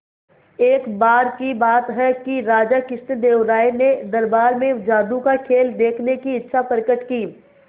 एक बार की बात है कि राजा कृष्णदेव राय ने दरबार में जादू का खेल देखने की इच्छा प्रकट की